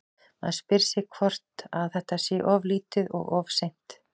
Maður spyr sig bara hvort að þetta sé of lítið og of seint?